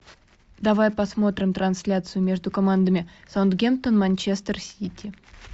давай посмотрим трансляцию между командами саутгемптон манчестер сити